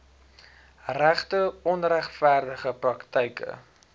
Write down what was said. regte onregverdige praktyke